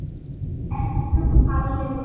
Elsku Palli minn.